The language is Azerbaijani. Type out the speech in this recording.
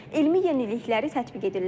Elmi yenilikləri tətbiq edirlər.